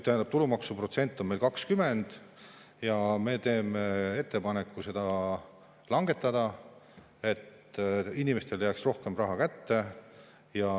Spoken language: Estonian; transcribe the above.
Tulumaksuprotsent on meil 20 ja me teeme ettepaneku seda langetada, et inimestele jääks rohkem raha kätte.